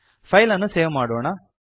file ಅನ್ನು save ಮಾಡೋಣ